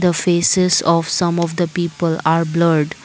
The faces of some of the people are blurred.